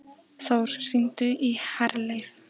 Þór, hringdu í Herleif.